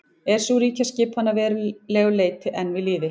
er sú ríkjaskipan að verulegu leyti enn við lýði